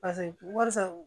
wari san